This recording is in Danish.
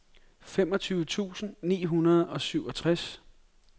femogtyve tusind ni hundrede og syvogtres